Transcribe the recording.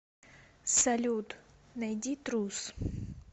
салют найди трус